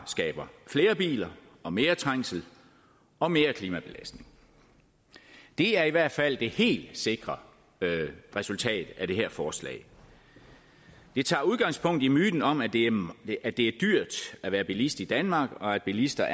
skabe flere biler og mere trængsel og mere klimabelastning det er i hvert fald det helt sikre resultat af det her forslag det tager udgangspunkt i myten om at det at det er dyrt at være bilist i danmark og at bilister